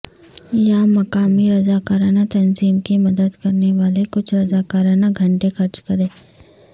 یا مقامی رضاکارانہ تنظیم کی مدد کرنے والے کچھ رضاکارانہ گھنٹے خرچ کریں